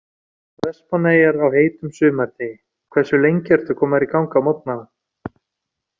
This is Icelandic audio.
Vestmannaeyjar á heitum sumardegi Hversu lengi ertu að koma þér í gang á morgnanna?